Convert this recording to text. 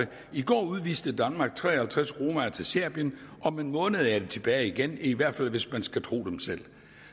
i går udviste danmark tre og halvtreds romaer til serbien om en måned er de tilbage igen i hvert fald hvis man skal tro dem selv